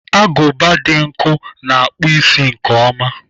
Agụba dị nkọ na-akpụ isi nke ọma.